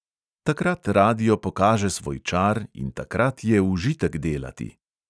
Takrat radio pokaže svoj čar in takrat je užitek delati.